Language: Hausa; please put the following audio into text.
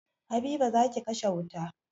Habiba, za ki kashe wuta